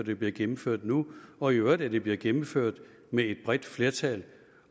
det bliver gennemført nu og i øvrigt at det bliver gennemført med et bredt flertal